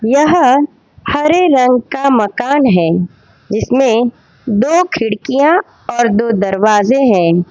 यह हरे रंग का मकान हैं जिसमें दो खिड़कियां और दो दरवाजे हैं।